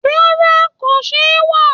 Rárá, kò ṣewà